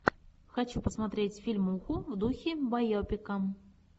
хочу посмотреть фильмуху в духе байопика